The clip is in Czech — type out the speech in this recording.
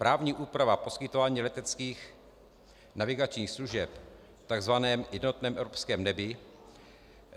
Právní úprava poskytování leteckých navigačních služeb v tzv. jednotném evropském nebi.